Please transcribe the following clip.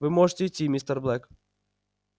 вы можете идти мистер блэк